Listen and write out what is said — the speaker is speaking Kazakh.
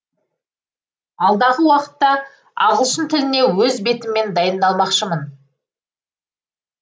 алдағы уақытта ағылшын тіліне өз бетіммен дайындалмақшымын